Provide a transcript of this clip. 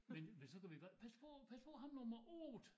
Men men så kunne vi godt pas på pas på ham nummer 8